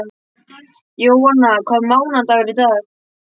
Jóanna, hvaða mánaðardagur er í dag?